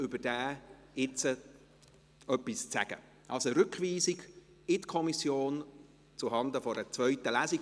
Also: Rückweisung in die Kommission zuhanden einer zweiten Lesung.